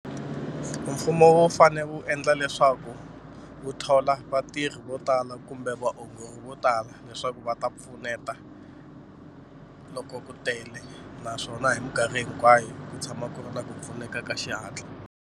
Mfumo wu fane wu endla leswaku wu thola vatirhi vo tala kumbe vaongori vo tala leswaku va ta pfuneta loko ku tele naswona hi mikarhi hinkwayo ku tshama ku ri na ku pfuneka ka xihatla.